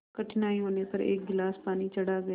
कठिनाई होने पर एक गिलास पानी चढ़ा गए